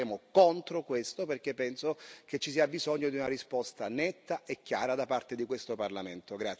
Noi voteremo contro questo, perché penso che ci sia bisogno di una risposta netta e chiara da parte di questo Parlamento.